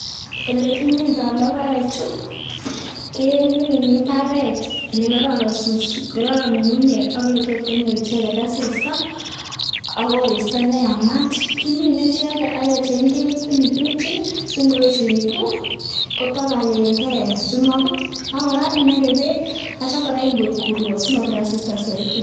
Ele kimindologoechu ke mbaret ole kororon ng'ung'unyek ak ole tot konyor icheget asista ak koristo neyamat. Kimine icheget ak kecheng ketit nekirutyin si ngoyechegitu kotabalenge simaibut ak kora inage beek ak kityo kora ingoik urwo simobir asista soiti.